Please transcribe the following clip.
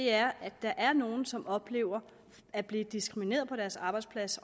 er at der er nogle som oplever at blive diskrimineret på deres arbejdsplads